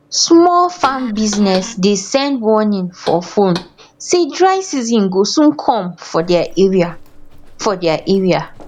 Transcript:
small farm business dey send warning for phone say dry season go soon come for their area for their area